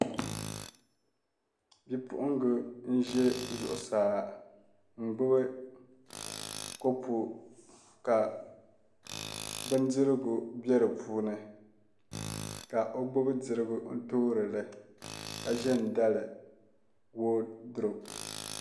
Bipuɣunbili n ʒɛ zuɣusaa n gbubi kopu ka bindirigu bɛ di puuni ka o gbubi dirigu n toorili ka ʒɛ n dali woodurop